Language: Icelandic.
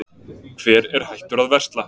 Hver er hættur að versla?